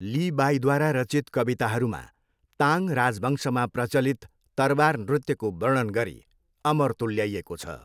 ली बाईद्वारा रचित कविताहरूमा ताङ राजवंशमा प्रचलित तरवार नृत्यको वर्णन गरी अमर तुल्याइएको छ।